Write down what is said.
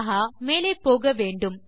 ஆஹா மேலே போக வேண்டும்